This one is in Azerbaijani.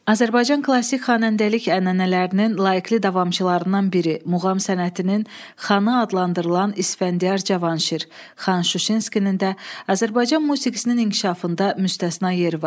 Azərbaycan klassik xanəndəlik ənənələrinin layiqli davamçılarından biri, muğam sənətinin xana adlandırılan İsfəndiyar Cavanşir, Xan Şuşinskinin də Azərbaycan musiqisinin inkişafında müstəsna yeri var.